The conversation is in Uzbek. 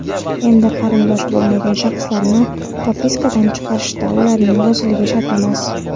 Endi qarindosh bo‘lmagan shaxslarni "propiska"dan chiqarishda ularning roziligi shart emas.